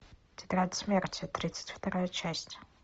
тетрадь смерти тридцать вторая часть